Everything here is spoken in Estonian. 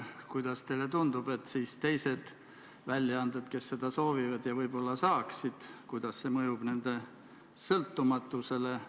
Kuidas teile tundub, kui teised väljaanded seda soovivad ja võib-olla saaksid, siis kuidas see mõjub nende sõltumatusele?